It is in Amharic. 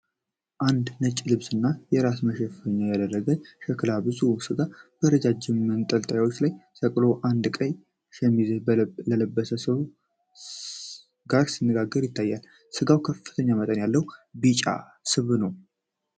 አንድ ነጭ ልብስና የራስ መሸፈኛ ያደረገ ሸላች ብዙ ሥጋ በረዣዥም መንጠቆዎች ላይ ሰቅሎ አንድ ቀይ ሸሚዝ ከለበሰ ሰው ጋር ሲነጋገር ይታያል። ሥጋው ከፍተኛ መጠን ያለው ቢጫ ስብ አለው።